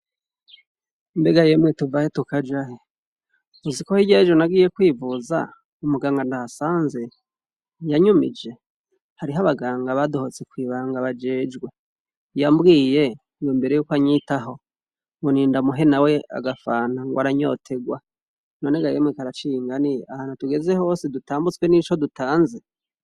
Mbega yemwe tuvahe tukajahe uziko hirya yejo nagiye kwivuza umuganga ndahasanze yanyumije hariho abaganga badohotse kwijambo bajejwe yambwiye ngo imbere yuko anyitaho ngo nindamuhe nawe agafanta rwaranyoterwa none gayemwe karaciye ingani ahantu tugeze hose dutambutswe nico dutanze